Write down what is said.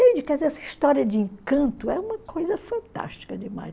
essa história de encanto é uma coisa fantástica demais.